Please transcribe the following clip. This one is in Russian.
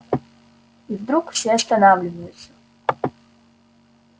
и вдруг все останавливаются